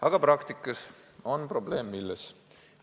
Aga praktikas on probleem milles?